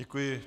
Děkuji.